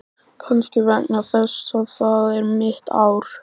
Kannski vegna þess að það er mitt ár.